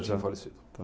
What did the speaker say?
Tinham falecido. Então